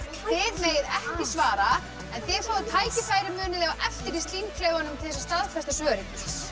þið megið ekki svara en þið fáið tækifæri á eftir í til þess að staðfesta svörin